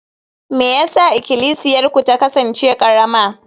me yasa Ikklisiyarku ta kasance karama?